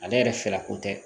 Ale yɛrɛ fɛla ko tɛ